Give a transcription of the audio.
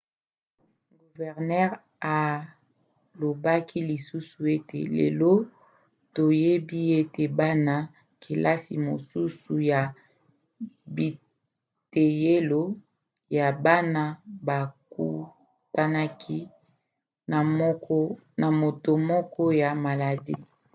guvernere alobaki lisusu ete lelo toyebi ete bana-kelasi mosusu ya biteyelo ya bana bakutanaki na moto moko ya maladi.